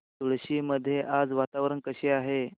मुळशी मध्ये आज वातावरण कसे आहे